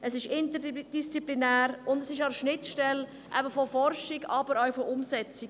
Es ist interdisziplinär und befindet sich auch an der Schnittstelle sowohl der Forschung als auch der Umsetzung.